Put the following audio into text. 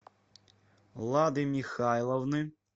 лады михайловны